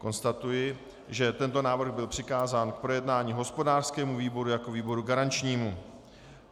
Konstatuji, že tento návrh byl přikázán k projednání hospodářskému výboru jako výboru garančnímu.